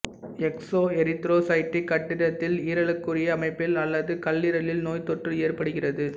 exoerythrocytic கட்டத்தில் ஈரலுக்குரிய அமைப்பில் அல்லது கல்லீரலில் நோய்த்தொற்று ஏற்படுகிறது